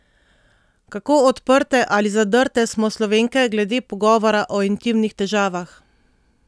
Kako odprte ali zadrte smo Slovenke glede pogovora o intimnih težavah?